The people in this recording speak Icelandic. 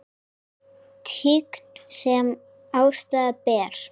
Tign sem æðsta ber.